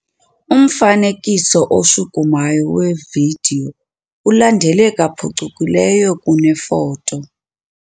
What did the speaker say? Umfanekiso oshukumayo wevidiyo ulandeleka phucukileyo kunefoto.